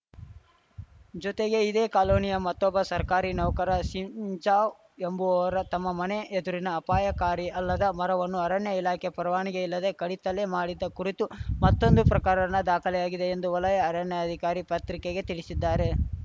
ಜೊತೆಗೆ ಇದೇ ಕಾಲೋನಿಯ ಮತ್ತೊಬ್ಬ ಸರ್ಕಾರಿ ನೌಕರ ಸಿಂಜಾವ್‌ ಎಂಬುವವರ ತಮ್ಮ ಮನೆ ಎದುರಿನ ಅಪಾಯಕಾರಿ ಅಲ್ಲದ ಮರವನ್ನು ಅರಣ್ಯ ಇಲಾಖೆಯ ಪರವಾನಿಗೆ ಇಲ್ಲದೆ ಕಡಿತಲೆ ಮಾಡಿದ ಕುರಿತೂ ಮತ್ತೊಂದು ಪ್ರಕರಣ ದಾಖಲಾಗಿದೆ ಎಂದು ವಲಯ ಅರಣ್ಯಾಧಿಕಾರಿ ಪತ್ರಿಕೆಗೆ ತಿಳಿಸಿದ್ದಾರೆ